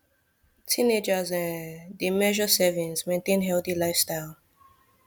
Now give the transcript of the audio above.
teenagers um dey measure servings maintain healthy lifestyle